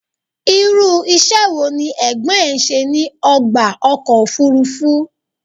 Irú iṣẹ́ wo ní Ẹ̀gbọ́n ẹ ṣe ní ọgbà ọkọ̀ òfúrúfú?